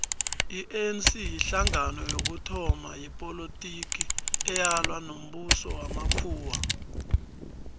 ianc yihlangano yokuthoma yepolotiki eyalwa nombuso wamakhuwa